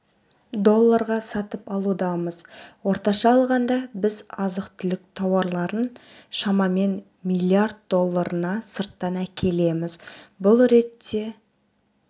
долларға сатып алудамыз орташа алғанда біз азық-түлік тауарларын шамамен млрд долларына сырттан әкелеміз бұл ретте